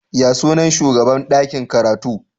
Ya sunan shugaban dakin karatu?